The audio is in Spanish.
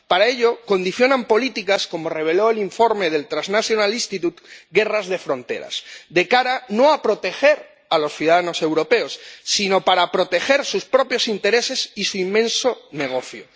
Para ello condicionan políticas, como reveló el informe del Transnational Institute Guerras de fronteras de cara no a proteger a los ciudadanos europeos sino a proteger sus propios intereses y su inmenso negocio.